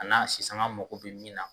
A na si sanga mago be min na